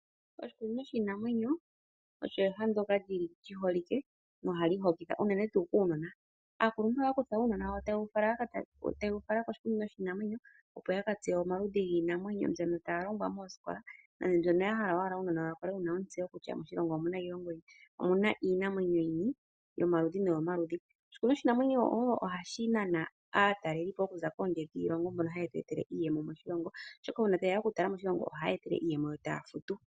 Oshikunino shiinamwenyo olyo eha ndyoka li holike nohali hokitha unene kuunona. Aakuluntu ohaya kutha uunona taye wu fala koshikunino shiinamwenyo, opo ya ka tseye omaludhi giinamwenyo mbyono taya longwa mosikola nenge mbyono ya hala ya uunona wawo wu kale wu na ontseyo kutya moshilongo omu na iinamwenyo yini, yomaludhi nomaludhi. Oshikunino shiinamwenyo ohashi nana aatalelipo okuza kondje yiilongo mbono haye tu etele iiyemo moshilongo, oshoka uuna taye ya okutala moshilongo ohaye etelele iiyemo yo taya futu.